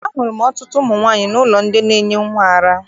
Ahụrụ m ọtụtụ ụmụ nwaanyị n'ụlọ ndị na-enye nnwa ara.